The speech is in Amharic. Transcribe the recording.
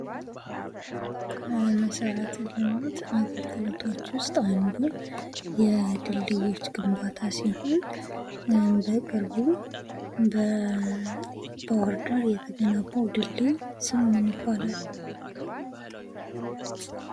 ከመሠረተ ልማት አገልግሎቶች ውስጥ አንዱ የድል ዮች ግንባታ ሲሆን በቅርቡ በባህር ዳር የተገነባው ድልድይ ስሙ ማን ይባላል።